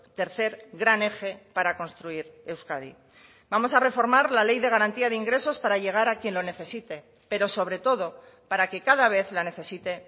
tercer gran eje para construir euskadi vamos a reformar la ley de garantía de ingresos para llegar a quien lo necesite pero sobre todo para que cada vez la necesite